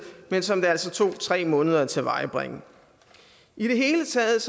men som det altså tog tre måneder at tilvejebringe i det hele taget